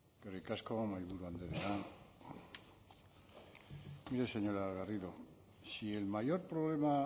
eskerrik asko mahaiburu andrea mire señora garrido si el mayor problema